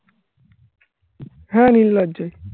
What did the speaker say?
হ্যাঁ নির্লজ্জ